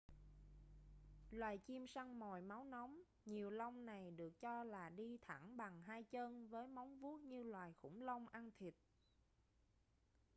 loài chim săn mồi máu nóng nhiều lông này được cho là đi thẳng bằng hai chân với móng vuốt như loài khủng long ăn thịt